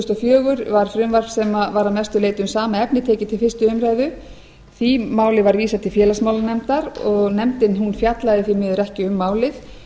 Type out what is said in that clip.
fjögur var frumvarp sem var að mestu leyti um sama efni tekið til fyrstu umræðu því máli var vísað til félagsmálanefndar nefndin fjallaði því miður ekki um málið